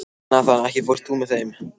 Nathan, ekki fórstu með þeim?